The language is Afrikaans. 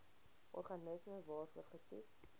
organisme waarvoor getoets